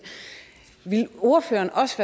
ville ordføreren også